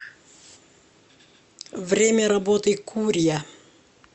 время работы курья